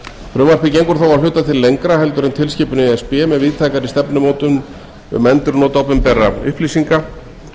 gengur þó að hluta til lengra en tilskipun e s b með víðtækari stefnumótun um endurnot opinberra upplýsinga